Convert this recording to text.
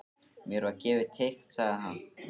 Mér var gefið teikn sagði hann.